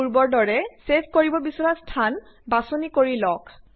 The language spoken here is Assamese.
পূৰ্বৰ দৰে ছেভ কৰিব বিছৰা স্থান বাচনি কৰি লওঁক